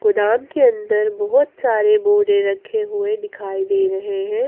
गोदाम के अंदर बहौत सारे बोरे रखे हुए दिखाई दे रहे है।